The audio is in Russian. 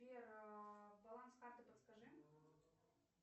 сбер баланс карты подскажи